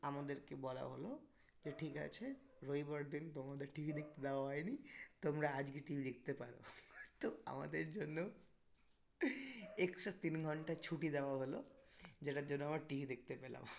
আমাদেরকে বলা হলো যে ঠিক আছে রবিবার দিন তোমাদের TV দেখতে দেওয়া হয়নি তোমরা আজকে TV দেখতে পারো তো আমাদের জন্য extra তিন ঘন্টা ছুটি দেওয়া হলো যেটার জন্য আমার TV দেখতে পেলাম